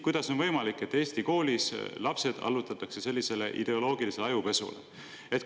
Kuidas on võimalik, et Eesti koolis allutatakse lapsed sellisele ideoloogilise ajupesule?